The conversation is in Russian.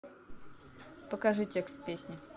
покажи текст песни